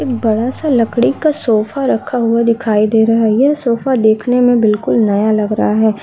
बड़ा सा लकड़ी का सोफ़ा रखा हुआ दिखाई दे रहा है। यह सोफ़ा देखने में बिल्कुल नया लग रहा है।